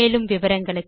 மேலும் விவரங்களுக்கு